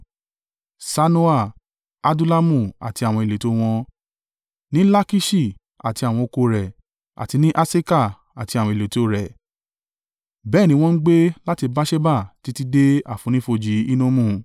Sanoa, Adullamu àti àwọn ìletò o wọn, ní Lakiṣi àti àwọn oko rẹ̀, àti ní Aseka àti àwọn ìletò rẹ̀. Bẹ́ẹ̀ ni wọ́n ń gbé láti Beerṣeba títí dé àfonífojì Hinnomu.